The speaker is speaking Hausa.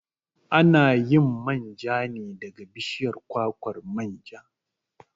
A na yin manja ne daga bishiyar kwakwar manja.